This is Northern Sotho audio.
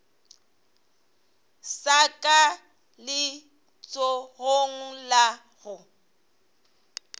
sa ka letsogong la go